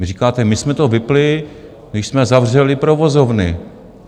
Vy říkáte, my jsme to vypnuli, když jsme zavřeli provozovny.